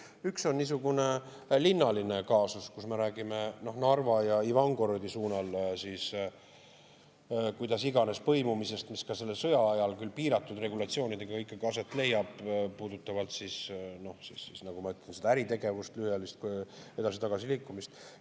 Üks on niisugune linnaline kaasus, kui me räägime Narva ja Ivangorodi suunal mis iganes põimumisest, mis ka selle sõja ajal, küll piiratud regulatsioonidega, ikkagi aset leiab, see puudutab äritegevust, lühiajalist edasi-tagasi liikumist.